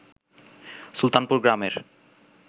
সুলতানপুর গ্রামের